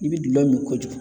I bɛ dulɔ min kojugu.